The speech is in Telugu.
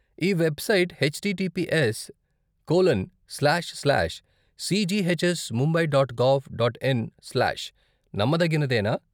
ఈ website H T T P S colon slash slash C G H S Mumbai dot gov dot in slash నమ్మదగినదేనా?